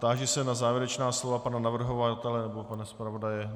Táži se na závěrečná slova pana navrhovatele nebo pana zpravodaje.